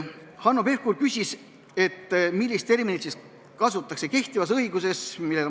Hanno Pevkur küsis, millist terminit kasutatakse kehtivas õiguses.